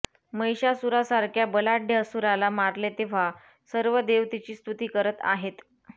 महिषासुरासारख्या बलाढ्य असुराला मारले तेव्हा सर्व देव तिची स्तुती करत आहेत